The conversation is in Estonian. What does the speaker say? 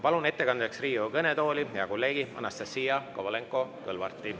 Palun ettekandeks Riigikogu kõnetooli hea kolleegi Anastassia Kovalenko-Kõlvarti.